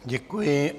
Děkuji.